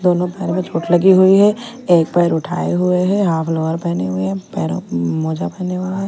दोनो पैर में चोट लगी हुई है एक पैर उठाए हुए हैं हाफ लोअर पहने हुए हैं पैरों पे मोजा पहने हुए हैं।